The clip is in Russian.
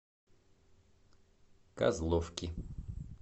козловки